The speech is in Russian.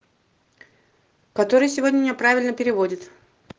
который сегодня неправильно переводит